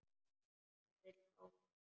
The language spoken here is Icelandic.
Hann vill fá mig.